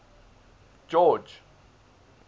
george